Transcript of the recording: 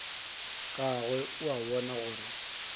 gagwe o a bona gore